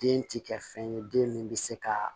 Den ti kɛ fɛn ye den min bɛ se ka